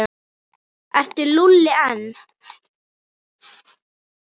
Er Lúlli einn?